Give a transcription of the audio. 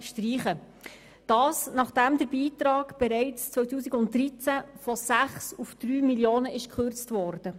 Das geschieht, nachdem der Beitrag bereits im Jahr 2013 von 6 auf 3 Mio. Franken gekürzt wurde.